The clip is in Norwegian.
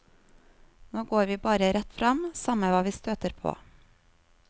Nå går vi bare rett frem, samme hva vi støter på.